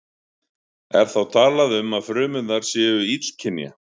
Er þá talað um að frumurnar séu illkynja.